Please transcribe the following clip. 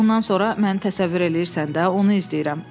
Ondan sonra mən təsəvvür eləyirsən də, onu izləyirəm.